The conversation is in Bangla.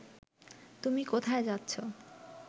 তুমি কোথায় যাচ্ছ